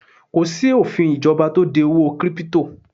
Kò sí òfin ìjọba tó de owó 'kírípútò'